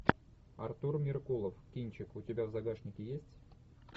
артур меркулов кинчик у тебя в загашнике есть